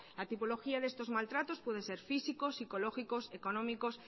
la topología de estos maltratos puede ser físicos psicológicos económicos